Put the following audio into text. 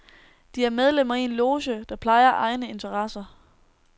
De er medlemmer i en loge, der plejer egne interesser.